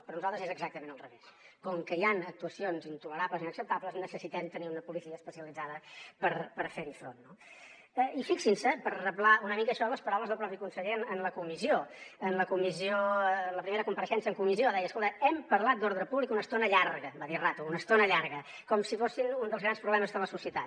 per nosaltres és exactament al revés com que hi han actuacions intolerables i inacceptables necessitem tenir una policia especialitzada per fer hi front no i fixin se per reblar una mica això en les paraules del propi conseller en la comissió en la primera compareixença en comissió deia escolta hem parlat d’ordre públic una estona llarga va dir rato una estona llarga com si fos un dels grans problemes de la societat